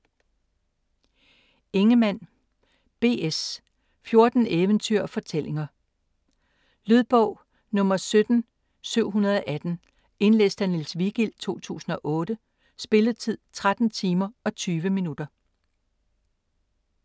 Ingemann, B. S.: Fjorten Eventyr og Fortællinger Lydbog 17718 Indlæst af Niels Vigild, 2008. Spilletid: 13 timer, 20 minutter.